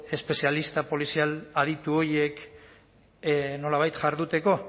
espezialista polizial aditu horiek nolabait jarduteko